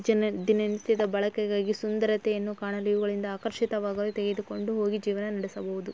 ಜನರು ದಿನನಿತ್ಯದ ಬಳಕೆಗಾಗಿ ಸುಂದರತೆಯನ್ನು ಕಾಣಲು ಇವುಗಳಿಂದ ಆಕರ್ಷಿತವಾಗಲು ತೆಗೆದುಕೊಂಡು ಹೋಗಿ ಜೀವನ ನಡೆಸಬಹುದು.